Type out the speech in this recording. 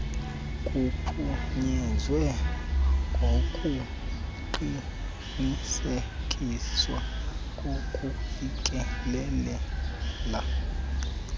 kuphunyezwa ngokuqinisekiswa kokufikelela